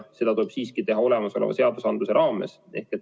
Aga seda tuleb siiski teha olemasoleva seadusandluse raames.